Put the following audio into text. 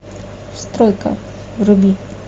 стройка вруби